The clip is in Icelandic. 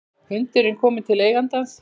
Hundurinn kominn til eigandans